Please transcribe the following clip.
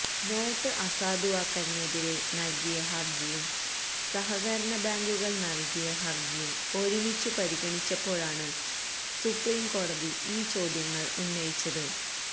not അസാധുവാക്കലിനെതിരെ നൽകിയ ഹർജിയും സഹകരണ ബാങ്കുകൾ നൽകിയ ഹർജിയും ഒരുമിച്ചു പരിഗണിച്ചപ്പോഴാണ് സുപ്രീംകോടതി ഈ ചോദ്യങ്ങൾ ഉന്നയിച്ചത്